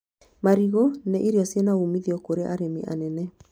Marigũ nĩ irio ciĩna umithio kũrĩ arĩmi anene